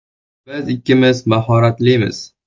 Biz ikkimiz mahoratlimiz.